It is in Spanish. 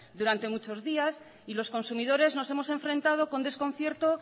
durante muchos días y los consumidores nos hemos enfrentado con desconcierto